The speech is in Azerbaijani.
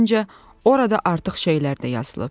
Məncə, orada artıq şeylər də yazılıb.